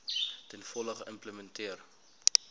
ten volle geïmplementeer